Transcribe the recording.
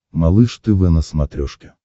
малыш тв на смотрешке